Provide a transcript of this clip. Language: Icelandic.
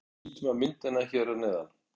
Lítum á myndina hér að neðan.